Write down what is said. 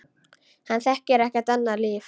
Hann þekkir ekkert annað líf.